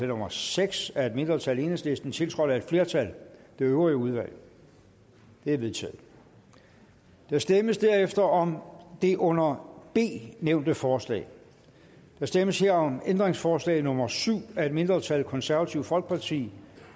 nummer seks af et mindretal enhedslisten tiltrådt af et flertal det øvrige udvalg det er vedtaget der stemmes derefter om det under b nævnte forslag der stemmes her om ændringsforslag nummer syv af et mindretal konservative folkeparti